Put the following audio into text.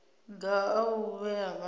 maga a u vhea vhana